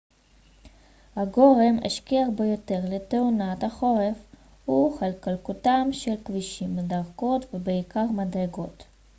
הגורם השכיח ביותר לתאונות בחורף הוא חלקלקותם של כבישים מדרכות ובעיקר מדרגות